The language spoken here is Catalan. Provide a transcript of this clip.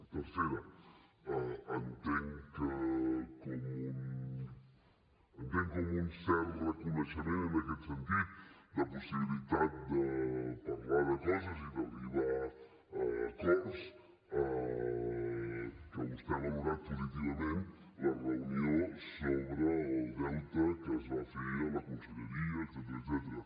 tercera entenc com un cert reconeixement en aquest sentit de possibilitat de parlar de coses i d’arribar a acords que vostè ha valorat positivament la reunió sobre el deute que es va fer a la conselleria etcètera